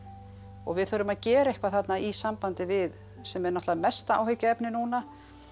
og við þurfum að gefa eitthvað þarna í sambandi við sem er náttúrulega mesta áhyggjuefni núna